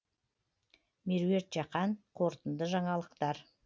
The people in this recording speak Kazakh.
меруерт жақан қорытынды жаңалықтар